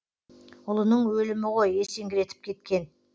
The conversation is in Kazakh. ұлының өлімі ғой есеңгіретіп кеткен